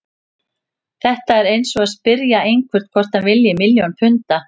Þetta er eins og að spyrja einhvern hvort hann vilji milljón punda.